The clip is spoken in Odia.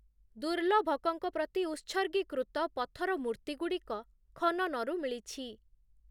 ଦୁର୍ଲଭକଙ୍କ ପ୍ରତି ଉତ୍ସର୍ଗୀକୃତ ପଥର ମୂର୍ତ୍ତିଗୁଡ଼ିକ ଖନନରୁ ମିଳିଛି ।